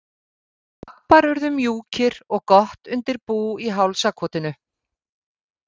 Og pabbar urðu mjúkir og gott undir bú í hálsakotinu.